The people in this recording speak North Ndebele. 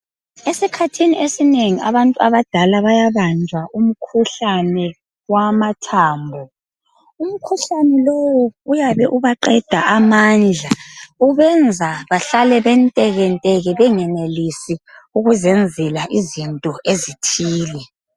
Esikhathini esinengi abantu abadala bayabajwa umkhuhlane wamathambo. Umkhuhlane lowu uyabe ubaqeda amandla ubenza bahlale bentekenteke bengenelisi ukuzenzela izinto ezithile.